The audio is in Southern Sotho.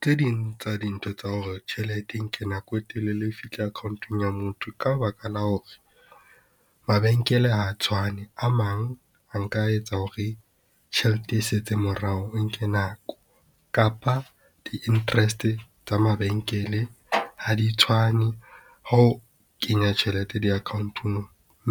Tse ding tsa dintho tsa hore tjhelete e nke nako e telele ho fihla account-ong ya motho. Ka baka la hore mabenkele ha tshwane, a mang a nka etsa hore tjhelete e setseng morao e nke nako kapa di interest tsa mabenkele ha di tshwane. Ha o kenya tjhelete di-account-ong